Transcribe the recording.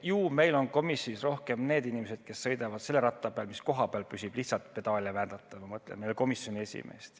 Ju meil on komisjonis rohkem need inimesed, kes sõidavad selle ratta peal, mis koha peal püsib, lihtsalt pedaale vändates, ma mõtlen meie komisjoni esimeest.